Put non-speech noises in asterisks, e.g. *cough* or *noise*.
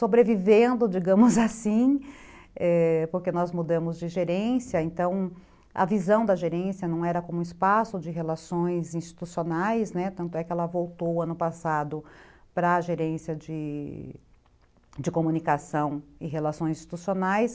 sobrevivendo, digamos assim, *laughs* porque nós mudamos de gerência, então a visão da gerência não era como espaço de relações institucionais, né, tanto é que ela voltou ano passado para a gerência de... comunicação e relações institucionais,